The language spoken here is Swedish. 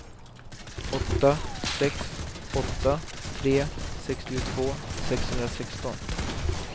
åtta sex åtta tre sextiotvå sexhundrasexton